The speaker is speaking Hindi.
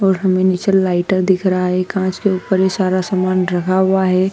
और हमे नीचे लाइटर दिख रहा है कांच के ऊपर ही सारा सामान रखा हुआ है।